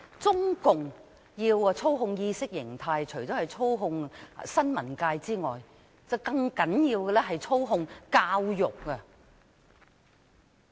中共要操控意識形態，除了操控新聞界，更重要的是操控教育。